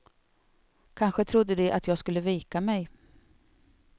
Kanske trodde de att jag skulle vika mig.